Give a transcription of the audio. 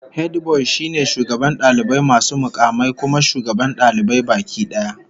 Hediboy shine shugaban dalibai masu mukamai, kuma shugaban dalibai baki daya